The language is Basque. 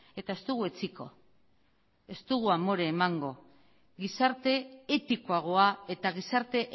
eta ez dugu etsiko ez dugu amore emango gizarte etikoagoa eta gizarte